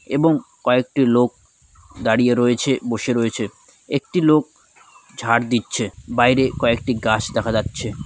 এবং কয়েকটি লোক দাঁড়িয়ে রয়েছে বসে রয়েছে | একটি লোক ঝাড় দিচ্ছে | বাইরে কয়েকটি গাছ দেখা যাচ্ছে।